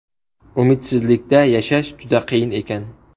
Umidsizlikda yashash juda qiyin ekan.